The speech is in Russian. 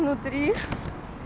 ну три